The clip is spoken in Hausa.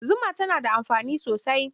Zuma tana da amfani da yawa.